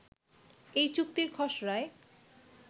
এই চুক্তির খসড়ায়